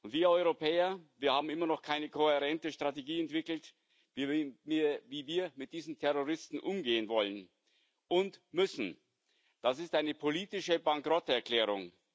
Wir Europäer haben immer noch keine kohärente Strategie entwickelt, wie wir mit diesen Terroristen umgehen wollen und müssen. Das ist eine politische Bankrotterklärung.